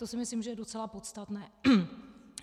To si myslím, že je docela podstatné.